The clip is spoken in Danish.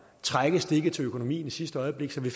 trække stikket til økonomien i sidste øjeblik fik vi